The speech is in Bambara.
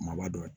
Maaba dɔ ye